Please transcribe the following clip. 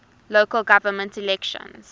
local government elections